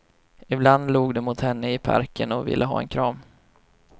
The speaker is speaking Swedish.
Ibland log de mot henne i parken och ville ha en kram.